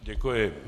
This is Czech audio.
Děkuji.